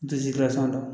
N tɛ gilasi n na